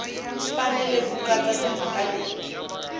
fanele ku katsa timhaka leti